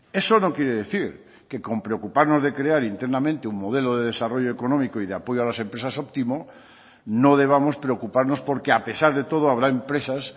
eso no quiere decir que con preocuparnos de crear internamente un modelo de desarrollo económico y de apoyo a las empresas óptimo no debamos preocuparnos porque a pesar de todo habrá empresas